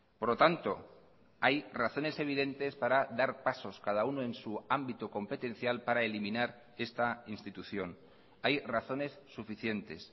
por lo tanto hay razones evidentes para dar pasos cada uno en su ámbito competencial para eliminar esta institución hay razones suficientes